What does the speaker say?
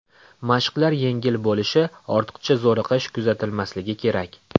Mashqlar yengil bo‘lishi, ortiqcha zo‘riqish kuzatilmasligi kerak.